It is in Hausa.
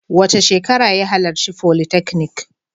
Wace shekara ka halarci folytechnic?